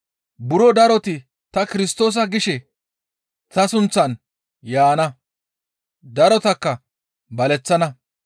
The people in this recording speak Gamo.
Buro daroti, ‹Ta Kirstoosa› gishe ta sunththan yaana; darotakka baleththana.